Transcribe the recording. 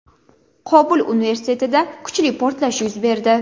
Qobul universitetida kuchli portlash yuz berdi.